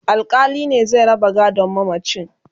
alkali ne zai raba gadon mamacin